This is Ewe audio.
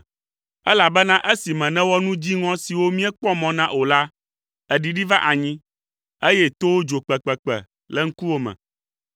elabena esime nèwɔ nu dziŋɔ siwo míekpɔ mɔ na o la, èɖiɖi va anyi, eye towo dzo kpekpekpe le ŋkuwò me.